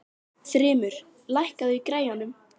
Þrymur, lækkaðu í græjunum.